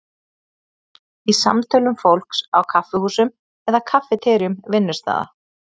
Í samtölum fólks á kaffihúsum eða kaffiteríum vinnustaða?